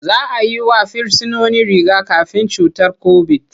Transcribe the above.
Za a yi wa Firsinoni riga-kafin cutar kobit.